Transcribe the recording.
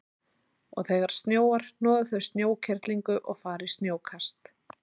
Og þegar snjóar hnoða þau snjókerlingu og fara í snjókast.